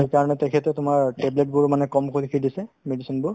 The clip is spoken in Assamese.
এ তাৰমানে তেখেতে তোমাৰ table বোৰো মানে কমকৈ লিখি দিছে medicine বোৰ